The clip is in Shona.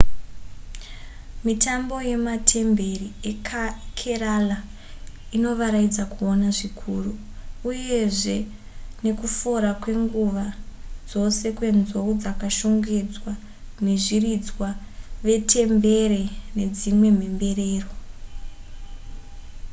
mitambo yematemberi ekerala inovaraidza kuona zvikuru uyezve nekufora kwenguva dzose kwenzou dzakashongedzwa vezviridzwa vetembere nedzimwe mhemberero